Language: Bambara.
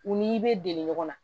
U n'i bɛ deli ɲɔgɔn na